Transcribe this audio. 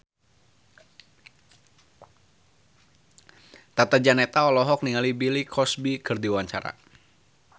Tata Janeta olohok ningali Bill Cosby keur diwawancara